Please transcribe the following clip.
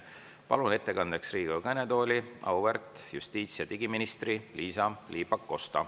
Palun ettekandeks Riigikogu kõnetooli auväärt justiits- ja digiministri Liisa-Ly Pakosta.